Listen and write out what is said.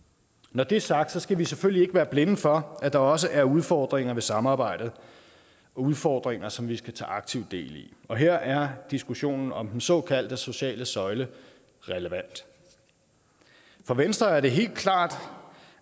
når det er sagt skal vi selvfølgelig ikke være blinde for at der også er udfordringer ved samarbejdet udfordringer som vi skal tage aktivt del i og her er diskussionen om den såkaldte sociale søjle relevant for venstre er det helt klart